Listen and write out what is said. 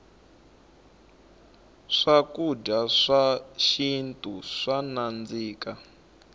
swakudya swa xintu swa nandzika